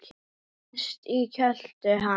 Sest í kjöltu hans.